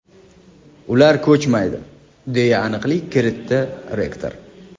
Ular ko‘chmaydi”, deya aniqlik kiritdi rektor.